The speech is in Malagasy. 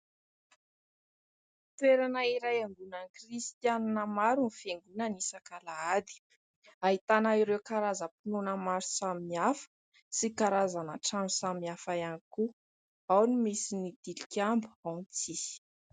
Toerana iray iangonan'ny kristianina maro ny fiangonana isak'alahady. Ahitana ireo karazam-pinoana maro samihafa sy karazana trano samihafa ihany koa. Ao ny misy ny tilikambo, ao ny tsisy.